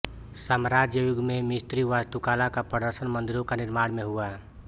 साम्राज्य युग में मिस्री वास्तुकला का प्रदर्शन मंदिरों का निर्माण में हुआ